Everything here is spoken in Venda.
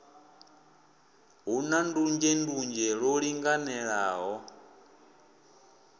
hu na ndunzhendunzhe lwo linganelaho